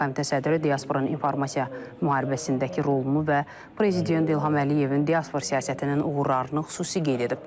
Komitə sədri diasporanın informasiya müharibəsindəki rolunu və Prezident İlham Əliyevin diaspor siyasətinin uğurlarını xüsusi qeyd edib.